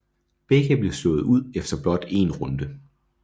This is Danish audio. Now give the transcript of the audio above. Begge blev slået ud efter blot en runde